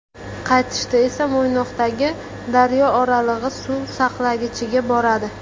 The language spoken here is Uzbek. Qaytishda esa Mo‘ynoqdagi Daryooralig‘i suv saqlagichiga boradi.